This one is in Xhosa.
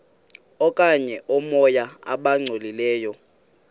okanye oomoya abangcolileyo